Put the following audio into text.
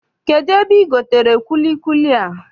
Kedụ ebe I gotere kwilikwili a?